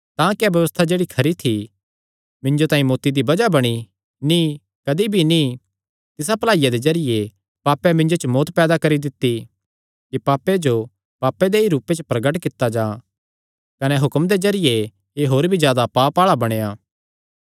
तां क्या व्यबस्था जेह्ड़ी खरी थी मिन्जो तांई मौत्ती दी बज़ाह बणी नीं कदी भी नीं तिसा भलाईया दे जरिये पापें मिन्जो च मौत्त पैदा करी दित्ती कि पापे जो पापे दे ई रूपे च प्रगट कित्ता जां कने हुक्म दे जरिये एह़ होर भी जादा पाप आल़ा बणेया